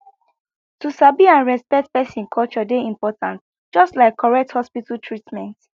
to sabi and respect person culture dey important just like correct hospital treatment